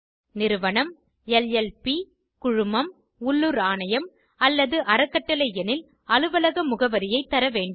நிறுவனம் எல்எல்பி குழுமம் உள்ளூர் ஆணையம் அல்லது அறக்கட்டளை எனில் அலுவலக முகவரியைத் தர வேண்டும்